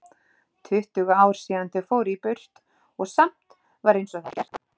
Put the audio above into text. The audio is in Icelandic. Tuttugu ár síðan þau fóru burt og samt var einsog það hefði gerst áðan.